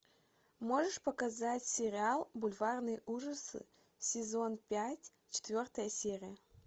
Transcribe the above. можешь показать сериал бульварные ужасы сезон пять четвертая серия